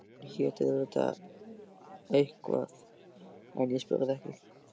Hún hét auðvitað eitthvað en ég spurði ekki.